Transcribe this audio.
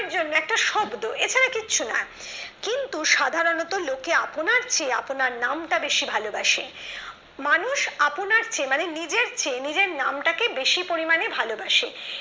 এর জন্য একটা শব্দ এ ছাড়া আর কিছু নয় কিন্তু সাধারণত লোকেরা আপনার চেয়ে আপনার নামটাকে বেশি ভালোবাসে মানুষ আপনার চেয়ে মানে নিজের চেয়ে নিজের নামটাকে বেশি পরিমাণে ভালোবাসে